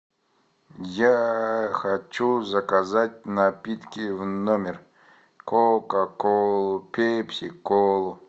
я хочу заказать напитки в номер кока колу пепси колу